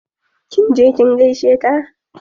70